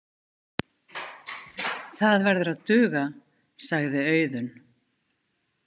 Það verður að duga, sagði Auðunn.